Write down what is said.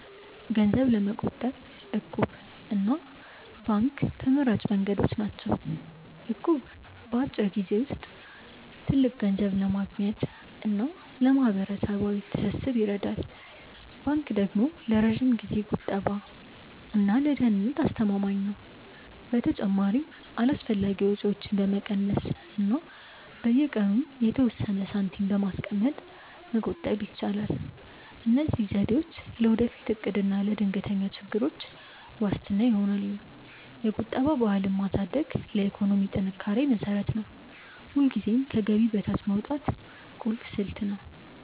ገንዘብ ለመቆጠብ 'እቁብ' እና ባንክ ተመራጭ መንገዶች ናቸው። እቁብ በአጭር ጊዜ ውስጥ ትልቅ ገንዘብ ለማግኘት እና ለማህበራዊ ትስስር ይረዳል። ባንክ ደግሞ ለረጅም ጊዜ ቁጠባ እና ለደህንነት አስተማማኝ ነው። በተጨማሪም አላስፈላጊ ወጪዎችን በመቀነስ እና በየቀኑ የተወሰነ ሳንቲም በማስቀመጥ መቆጠብ ይቻላል። እነዚህ ዘዴዎች ለወደፊት እቅድ እና ለድንገተኛ ችግሮች ዋስትና ይሆናሉ። የቁጠባ ባህልን ማሳደግ ለኢኮኖሚ ጥንካሬ መሰረት ነው። ሁልጊዜም ከገቢ በታች ማውጣት ቁልፍ ስልት ነው።